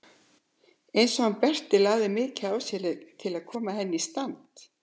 Eins og hann Berti lagði mikið á sig til að koma henni í stand.